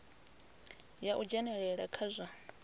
ya u dzhenelela kha zwa